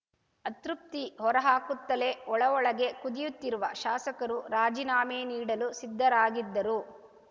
ಅತೃಪ್ತಿ ಹೊರಹಾಕುತ್ತಲೇ ಒಳಒಳಗೆ ಕುದಿಯುತ್ತಿರುವ ಶಾಸಕರು ರಾಜೀನಾಮೆ ನೀಡಲು ಸಿದ್ಧರಾಗಿದ್ದರೂ